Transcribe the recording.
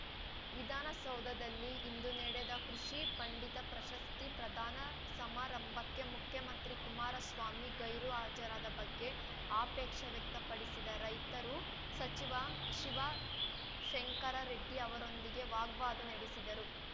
ವಿಧಾನ ಸೌಧದಲ್ಲಿ ಇಂದು ನಡೆದ ಕೃಷಿ ಪಂಡಿತ ಪ್ರಶಸ್ತಿ ಪ್ರಧಾನ ಸಮಾರಂಭಕ್ಕೆ ಮುಖ್ಯಮಂತ್ರಿ ಕುಮಾರಸ್ವಾಮಿ ಗೈರು ಹಾಜರಾದ ಬಗ್ಗೆ ಆಪೇಕ್ಷ ವ್ಯಕ್ತಪಡಿಸಿದ ರೈತರು ಸಚಿವ ಶಿವಶಂಕರ ರೆಡ್ಡಿ ಅವರೊಂದಿಗೆ ವಾಗ್ವಾದ ನಡೆಸಿದರು